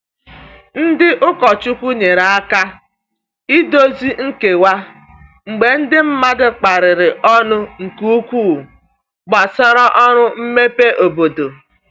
Ndị ụkọchukwu nyere aka idozi nkewa mgbe ndi mmadụ kparịrị ọnụ nke ukwuu gbasara ọrụ mmepe obodo.